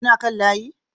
Kuna kan layi